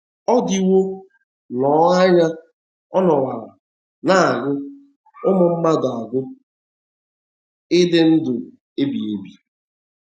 Ọ diwo nnọọ anya ọ nọworo na - agụ ụmụ mmadụ agụụ ịdị ndụ ebighị ebi.